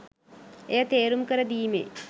එය තේරුම් කර දීමේ